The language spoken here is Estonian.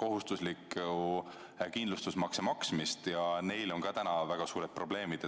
kohustuslikku kindlustusmakse maksmist ja neil on ka väga suured probleemid.